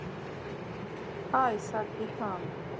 Hæ sagði hann.